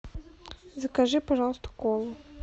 закажи пожалуйста колу